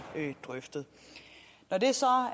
drøftet når det så